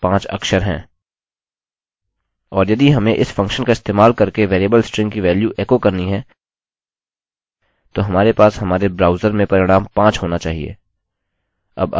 और यदि हमें इस फंक्शन का इस्तेमाल करके वेरिएबल स्ट्रिंग की वेल्यू एको करनी है तो हमारे पास हमारे ब्राउज़र में परिणाम 5 होना चाहिए